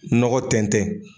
Nɔgɔ tɛntɛn.